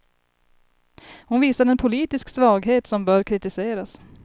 Hon visar en politisk svaghet som bör kritiseras.